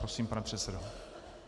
Prosím, pane předsedo.